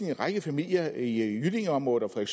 en række familier i jyllingeområdet og